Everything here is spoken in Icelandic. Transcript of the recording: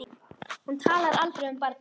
Hún talar aldrei um barnið.